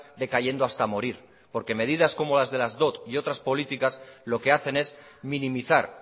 decayendo hasta morir porque medidas como las de las dot y otras políticas lo que hacen es minimizar